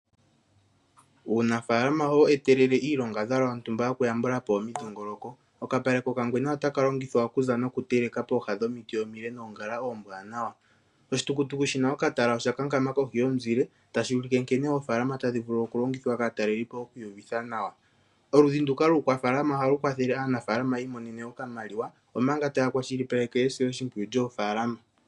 Uunafaalama ohawu etelele iilongadhalwa yontumba yokuyambula po omidhingoloko. Okapale kokangwena otaka longithwa okuza nokuteleka pooha dhomiti omile noongala oombwanawa. Oshitukutuku shi na okatala osha kankama kohi yomuzile tashi ulike nkene oofaalama tadhi vulu okulongithwa kaanafaalama oku iyuvitha nawa. Oludhi nduka luukwafaalama ohalu kwathele anafaalama yi imonene okamaliwa, omanga taya kwashilipaleke esiloshimpwiyu lyoofaalama.